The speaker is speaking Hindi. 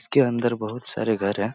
उसके अंदर बहुत सारे घर हैं ।